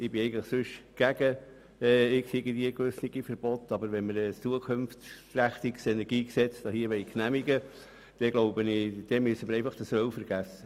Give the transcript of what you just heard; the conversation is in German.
Grundsätzlich bin ich eher gegen Verbote, aber wenn wir hier ein zukunftsgerichtetes Energiegesetz genehmigen wollen, müssen wir das Öl einfach vergessen.